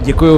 Děkuji.